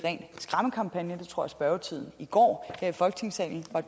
tror jeg spørgetimen i går her i folketingssalen var